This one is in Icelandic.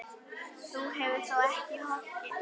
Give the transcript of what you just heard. Þú hefur þó ekki hoggið?